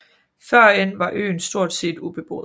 Førhen var øen stort set ubeboet